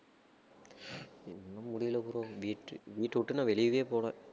ஒண்ணும் முடியல bro வீட்டு~ வீட்டவிட்டு நான் வெளியவே போகல